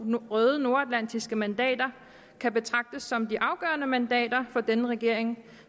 røde nordatlantiske mandater kan betragtes som de afgørende mandater for denne regering